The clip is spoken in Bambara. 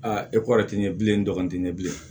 e ko ti ɲɛ bilenti ɲɛ bilen